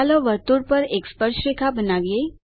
ચાલો વર્તુળ પર એક સ્પર્શરેખા બનાવીએ